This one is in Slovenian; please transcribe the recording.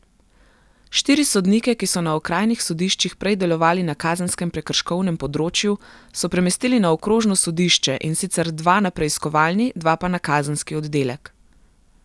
Štiri sodnike, ki so na okrajnih sodiščih prej delovali na kazenskem prekrškovnem področju, so premestili na okrožno sodišče, in sicer dva na preiskovalni, dva pa na kazenski oddelek.